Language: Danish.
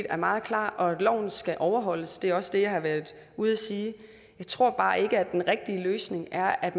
er meget klar og at loven skal overholdes det er også det jeg har været ude at sige jeg tror bare ikke at den rigtige løsning er at